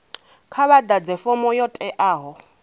kha vhaḓadze fomo yo teaho